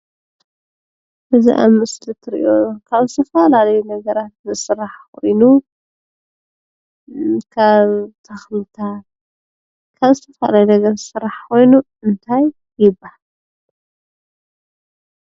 እዚ አብ ምስሊ እትረኦ ካብ ዝተፈላለዩ ነገራትዝስራሕ ኮይኑ ካብ ተክልታት ካብ ዝተፈላለዩ ነገራትዝስራሕ ኮይኑ እንታይ ይባሃል ?